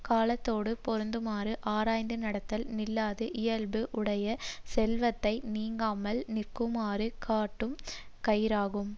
காலத்தோடுப் பொருந்துமாறு ஆராய்ந்து நடத்தல் நில்லாத இயல்பு உடைய செல்வத்தை நீங்காமல் நிற்குமாறு கட்டும் கயிறாகும்